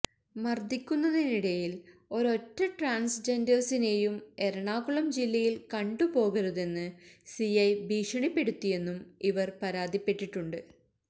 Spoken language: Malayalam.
മര്ദ്ദിക്കുന്നതിനിടയില് ഒരോറ്റ ട്രാന്സ്ജെന്ഡേഴ്സിനെയും എറണാകുളം ജില്ലയില് കണ്ടുപോകരുതെന്ന് സിഐ ഭീഷണിപ്പെടുത്തിയെന്നും ഇവര് പരാതിപ്പെട്ടിട്ടുണ്ട്